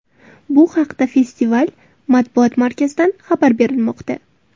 Bu haqda festival Matbuot markazidan xabar berilmoqda.